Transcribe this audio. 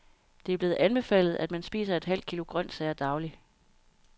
Det er blevet anbefalet, at man spiser et halvt kilo grønsager daglig.